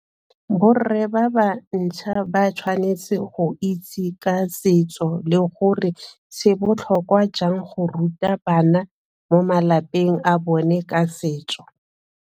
Borre ba ba ntšha ba tshwanetse go itse ka setso le gore se botlhokwa jang go ruta bana mo malapeng a bone ka setso.